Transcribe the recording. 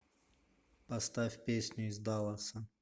поставь песню из далласа